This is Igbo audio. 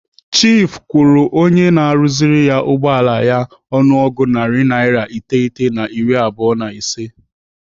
Chiifu kwụrụ onye na-arụziri ya ụgbọala ya ọnụego narị naira iteghete na iri abụọ na ise.